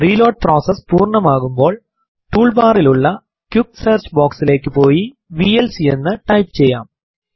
reload process പൂർണമാകുമ്പോൾ tool ബാറിലുള്ള quick search box ലേക്ക് പോയി വിഎൽസി എന്ന് ടൈപ്പ് ചെയ്യാം